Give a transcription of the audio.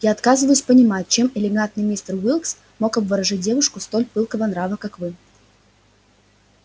я отказываюсь понимать чем элегантный мистер уилкс мог обворожить девушку столь пылкого нрава как вы